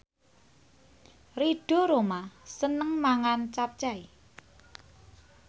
Ridho Roma seneng mangan capcay